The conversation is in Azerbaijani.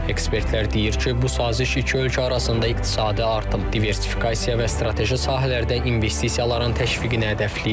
Ekspertlər deyir ki, bu saziş iki ölkə arasında iqtisadi artım, diversifikasiya və strateji sahələrdə investisiyaların təşviqini hədəfləyir.